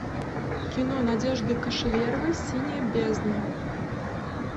кино надежды кошеверовой синяя бездна